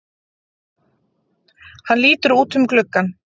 Hann lítur út um gluggann.